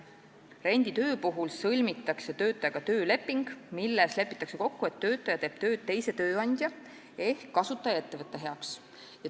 Renditöö puhul sõlmitakse töötajaga tööleping, milles lepitakse kokku, et töötaja teeb tööd teise tööandja ehk kasutajaettevõtte heaks.